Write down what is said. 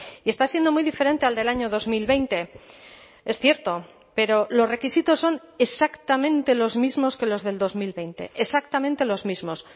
y está siendo muy diferente al del año dos mil veinte es cierto pero los requisitos son exactamente los mismos que los del dos mil veinte exactamente los mismos